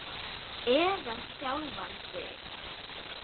Eða sjálfan þig.